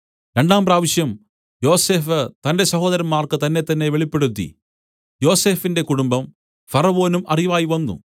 രണ്ടാം പ്രാവശ്യം യോസഫ് തന്റെ സഹോദരന്മാർക്ക് തന്നെത്തന്നെ വെളിപ്പെടുത്തി യോസഫിന്റെ കുടുംബം ഫറവോനും അറിവായ് വന്നു